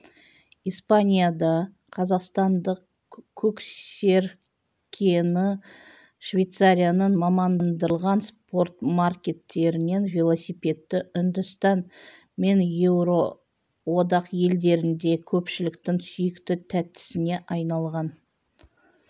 испанияда қазақстандық көксеркені швейцарияның мамандандырылған спортмаркеттерінен велосипедті үндістан мен еуроодақ елдерінде көпшіліктің сүйікті тәттісіне айналған